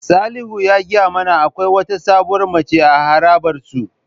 Salihu ya gaya mana akwai wata sabuwar mace a harabar su.